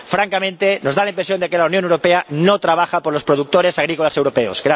Francamente, nos da la impresión de que la Unión Europea no trabaja por los productores agrícolas europeos.